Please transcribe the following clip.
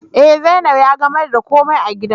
Eh, zainab ya gamer da ko mai a gidan